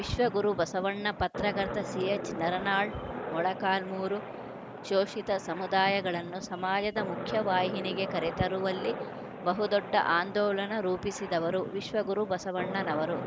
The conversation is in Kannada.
ವಿಶ್ವ ಗುರು ಬಸವಣ್ಣ ಪತ್ರಕರ್ತ ಸಿಎಚ್‌ನಾರನಾಳ್‌ ಮೊಳಕಾಲ್ಮುರು ಶೋಷಿತ ಸಮುದಾಯಗಳನ್ನು ಸಮಾಜದ ಮುಖ್ಯವಾಹಿನಿಗೆ ಕರೆತರುವಲ್ಲಿ ಬಹುದೊಡ್ಡ ಆಂದೋಲನ ರೂಪಿಸಿದವರು ವಿಶ್ವ ಗುರು ಬಸವಣ್ಣನವರು